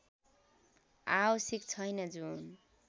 आवश्यक छैन जुन